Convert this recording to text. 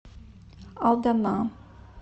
алдана